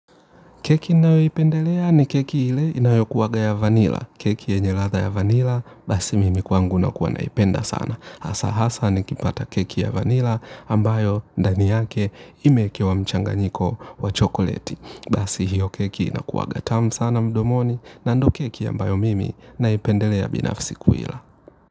Keki ninayoipendelea ni keki ile inayo kuwanga ya vanilla. Keki yenye latha ya vanila basi mimi kwangu nakuwa naipenda sana. Hasa hasa nikipata keki ya vanila ambayo ndani yake imeekewa mchanganyiko wa chokoleti. Basi hiyo keki inakuwaga tamu sana mdomoni na ndo keki ambayo mimi naipendelea binafsi kuila.